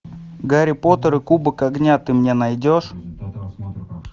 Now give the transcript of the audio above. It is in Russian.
гарри поттер и кубок огня ты мне найдешь